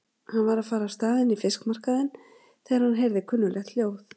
Hann var að fara af stað inn í fiskmarkaðinn þegar hann heyrði kunnuglegt hljóð.